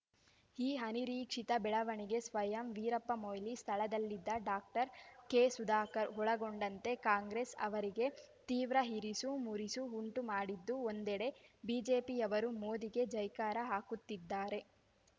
ಈ ಅನಿರೀಕ್ಷಿತ ಬೆಳವಣಿಗೆ ಸ್ವಯಂ ವೀರಪ್ಪ ಮೊಯ್ಲಿ ಸ್ಥಳದಲ್ಲಿದ್ದ ಡಾಕ್ಟರ್ ಕೆಸುಧಾಕರ್ ಒಳಗೊಂಡಂತೆ ಕಾಂಗ್ರೆಸ್ ಅವರಿಗೆ ತೀವ್ರ ಇರಿಸು ಮುರಿಸು ಉಂಟು ಮಾಡಿದ್ದು ಒಂದೆಡೆ ಬಿಜೆಪಿ ಯವರು ಮೋದಿಗೆ ಜೈಕಾರ ಹಾಕುತ್ತಿದ್ದಾರೆ